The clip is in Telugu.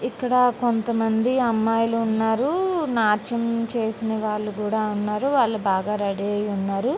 ఇక్కడ కొంతమంది అమ్మాయిలు ఉన్నారు నాట్యం చేసిన వాళ్లు కూడా ఉన్నారు వాళ్లు బాగా రెడీ అయి ఉన్నారు.